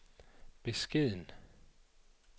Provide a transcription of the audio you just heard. beskeden